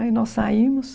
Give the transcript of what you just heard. Aí nós saímos.